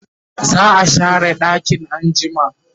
za'a share ɗakin anjima